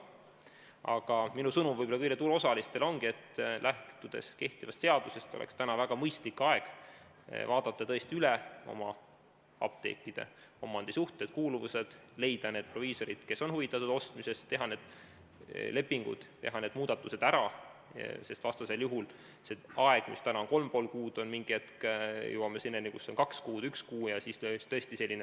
Aga minu sõnum kõigile turuosalistele ongi, et lähtudes kehtivast seadusest oleks täna väga mõistlik aeg vaadata üle apteekide omandisuhted, kuuluvused, leida proviisorid, kes on huvitatud apteekide ostmisest, teha lepingud ja muudatused ära, sest täna on aega kolm ja pool kuud, kuid mingil hetkel jõuame selleni, et aega on kaks kuud või üks kuu.